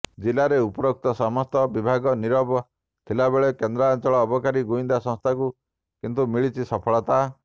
ଜିଲାରେ ଉପରୋକ୍ତ ସମସ୍ତ ବିଭାଗ ନୀରବ ଥିବାବେଳେ କେନ୍ଦ୍ରାଞ୍ଚଳ ଅବକାରୀ ଗୁଇନ୍ଦା ସଂସ୍ଥାକୁ କିନ୍ତୁ ମିଳୁଛି ସଫଳତା